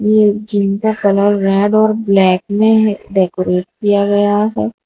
इस जिम का colour red और ब्लैक में डेकोरेट किया गया है।